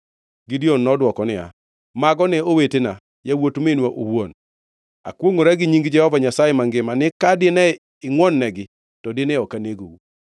Gideon nodwoko niya, “Mago ne owetena, yawuot minwa owuon. Akwongʼora gi nying Jehova Nyasaye mangima ni ka dine ingʼwononegi, to dine ok anegou.”